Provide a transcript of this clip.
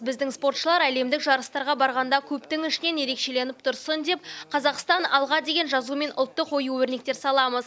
біздің спортшылар әлемдік жарыстарға барғанда көптің ішінен ерекшеленіп тұрсын деп қазақстан алға деген жазу мен ұлттық ою өрнектер саламыз